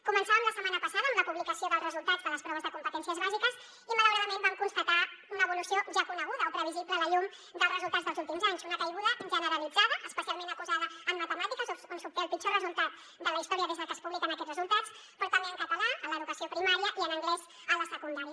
començàvem la setmana passada amb la publicació dels resultats de les proves de competències bàsiques i malauradament vam constatar una evolució ja coneguda o previsible a la llum dels resultats dels últims anys una caiguda generalitzada especialment acusada en matemàtiques on s’obté el pitjor resultat de la història des de que es publiquen aquests resultats però també en català en l’educació primària i en anglès a la secundària